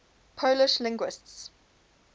polish linguists